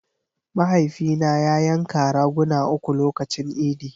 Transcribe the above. Mahaifina ya yanka raguna uku lokacin idi.